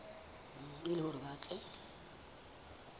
e le hore ba tle